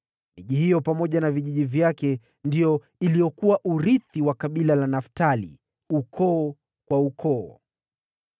Miji hiyo pamoja na vijiji vyake ndio iliyokuwa urithi wa kabila la Naftali, ukoo kwa ukoo.